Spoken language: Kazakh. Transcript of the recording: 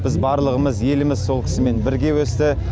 біз барлығымыз еліміз сол кісімен бірге өсті